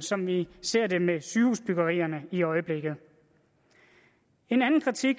som vi for ser det med sygehusbyggerierne i øjeblikket en anden kritik